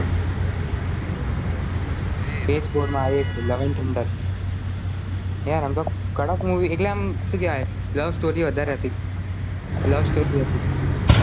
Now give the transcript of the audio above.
તો એ PS four આવી છે love and Thunder એ યાર એમ તો કડક મૂવી એટલે એમ શું કહવે love story વધારે હતી love story